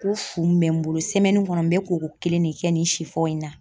Ko fun bɛ n bolo kɔnɔ n bɛ koko kelen de kɛ nin si fɔ in na.